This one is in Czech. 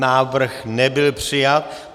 Návrh nebyl přijat.